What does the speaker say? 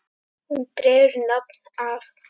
Hún dregur nafn af